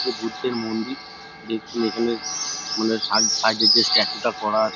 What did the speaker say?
এটি বুদ্ধের মন্দির দেখুন এখানে সাই-সাইড -এ যে স্ট্যাচুএ -এ করা আছে--